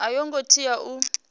a yo ngo tea u